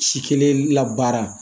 Si kelen labaara